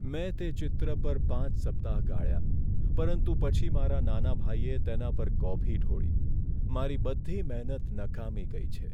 મેં તે ચિત્ર પર પાંચ સપ્તાહ ગાળ્યા પરંતુ પછી મારા નાના ભાઈએ તેના પર કોફી ઢોળી. મારી બધી મહેનત નકામી ગઈ છે.